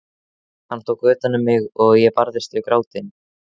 Hann tók utan um mig og ég barðist við grátinn.